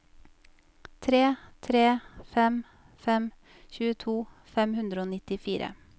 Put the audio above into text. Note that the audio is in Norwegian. tre tre fem fem tjueto fem hundre og nittifire